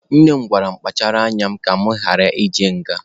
Nne m gwara mụ kpachara anya m ka mụ ghara ịje nga.